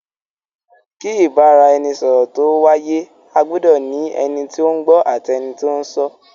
Kí Ìbáraẹnisọ̀rọ̀ tó wáyé, a gbudọ ní ẹni tí ó ń gbọ́ àti ẹni tí ó ń sọ.